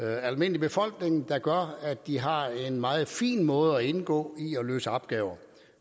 almindelige befolkning der gør at de har en meget fin måde at indgå i at løse opgaver